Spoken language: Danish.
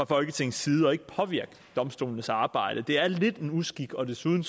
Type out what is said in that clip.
folketingets side og ikke påvirke domstolenes arbejde det er lidt en uskik og desuden